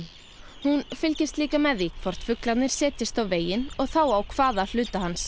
hún fylgist líka með því hvort fuglarnir setjist á veginn og þá á hvaða hluta hans